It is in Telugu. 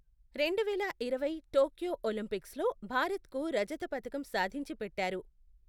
రెండు వేల ఇరవై టోక్యో ఒలింపిక్స్లో భారత్కు రజత పతకం సాధించి పెట్టారు.